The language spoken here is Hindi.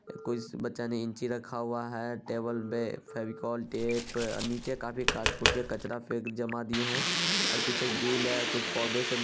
कोई स बच्चा ने इंची रखा हुआ है टेबल पे फेविकोल टेप नीचे काफी काटफूट के कचरा फेंक जमा दिए है और पीछे एक है कुछ पौधे से --